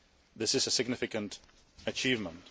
This is a significant achievement.